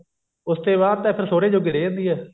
ਉਸਤੇ ਬਾਅਦ ਤਾਂ ਫ਼ੇਰ ਸੋਹਰੇ ਜੋਗੇ ਰਿਹ ਜਾਂਦੀ ਆ